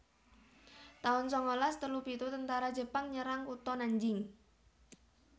taun sangalas telu pitu Tentara Jepang nyerang kutha Nanjing